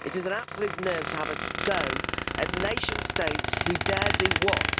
It is an absolute nerve to have a go at nation states who dare do what?